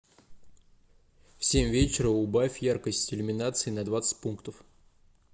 в семь вечера убавь яркость иллюминации на двадцать пунктов